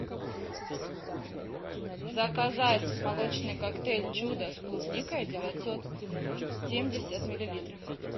заказать молочный коктейль чудо с клубникой девятьсот семьдесят миллилитров